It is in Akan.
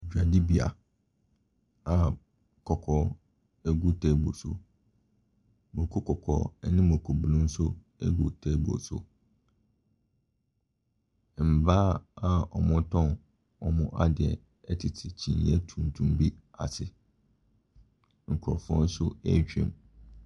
Dwadibea a kɔkɔɔ ɛgu table so, mako kɔkɔɔ ɛne makobunu nso agu table so. Mmaa wɔretɔn w’adeɛ ɛtete kyineɛ tuntum bi ase. Nkorɔfoɔ nso ɛretwam.